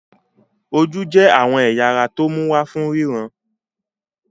Ojú jẹ́ àwọn ẹ̀ya ara tó mú wa ríran.